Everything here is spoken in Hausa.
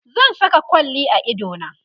zan Saka kwalli a idona